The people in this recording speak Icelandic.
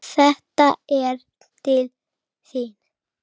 Þetta er til þín